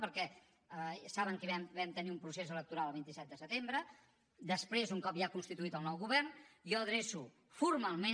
perquè saben que vam tenir un procés electoral el vint set de setembre després un cop ja constituït el nou govern jo adreço formalment